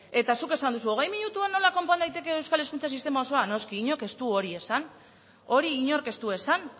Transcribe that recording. eta zuk esan duzu hogei minututan nola konpon daiteke euskal hezkuntza sistema osoa noski inork ez du hori esan hori inork ez du esan